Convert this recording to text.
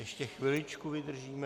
Ještě chviličku vydržíme.